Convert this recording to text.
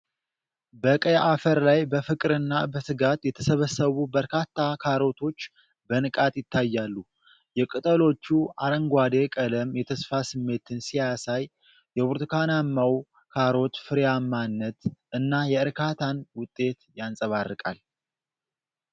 በቀይ አፈር ላይ በፍቅርና በትጋት የተሰበሰቡ በርካታ ካሮቶች በንቃት ይታያሉ። የቅጠሎቹ አረንጓዴ ቀለም የተስፋ ስሜትን ሲያሳይ፤ የብርቱካናማው ካሮት ፍሬያማነት እና የእርካታን ውጤት ያንጸባርቃል።